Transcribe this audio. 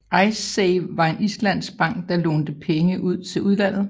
Icesave var en islandsk bank der lånte pege ud til udlandet